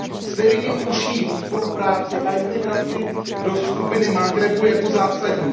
Zde vidím užší spolupráci a integraci do skupiny Maghrebu jako zásadní.